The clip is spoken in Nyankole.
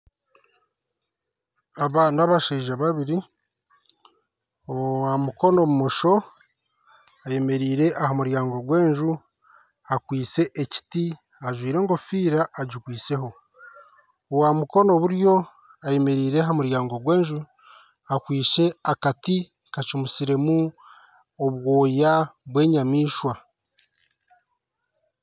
Aba ni abashaija babiri owa mukono bumosho ayemereire aha muryango gwa enju akwitse ekiti ajwaire engofira agikweiseho owa mukono buryo ayemereire aha muryango gwa enju akwitse akati kacumisiremu obwoya bwa enyamaishwa .